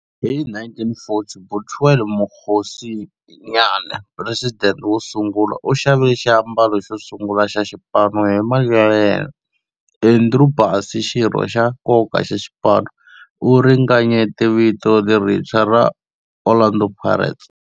Hi 1940, Bethuel Mokgosinyane, president wo sungula, u xavile xiambalo xo sungula xa xipano hi mali ya yena. Andrew Bassie, xirho xa nkoka xa xipano, u ringanyete vito lerintshwa ra 'Orlando Pirates'.